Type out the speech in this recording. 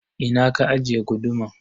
Ina ka ajiye guduman?